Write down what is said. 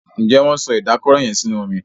Njé Wón so Ìdákọrò yén sínú omí?